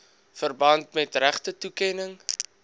verband met regtetoekenning